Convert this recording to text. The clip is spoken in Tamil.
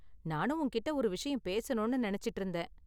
நானும் உன்கிட்டே ஒரு விஷயம் பேசணும்னு நினைச்சிட்டு இருந்தேன்.